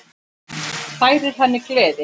Færir henni gleði.